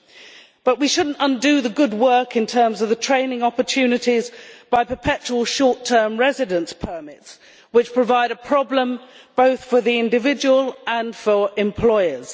However, we should not undo the good work in terms of training opportunities by issuing perpetual short term residence permits, which are a problem both for the individual and for employers.